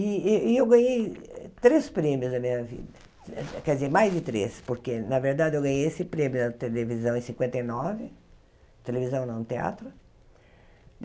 E e eu ganhei três prêmios na minha vida, quer dizer, mais de três, porque, na verdade, eu ganhei esse prêmio na televisão em cinquenta e nove, televisão, não, teatro.